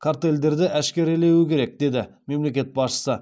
картельдерді әшкерелеуі керек деді мемлекет басшысы